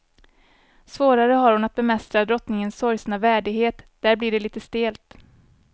Svårare har hon att bemästra drottningens sorgsna värdighet, där blir det lite stelt.